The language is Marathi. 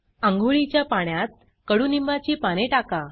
आंघोळीच्या पाण्यात कडूनिंबाची पाने टाका